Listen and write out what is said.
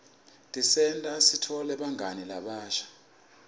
tisenta sitfole bangani labasha